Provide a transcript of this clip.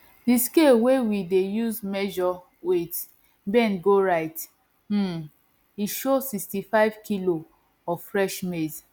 di scale wey we dey use measure weight bend go right um e show sixtyfive kilo of fresh maize